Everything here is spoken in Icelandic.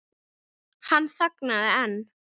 Hann þagnaði en